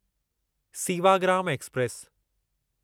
Sewagram express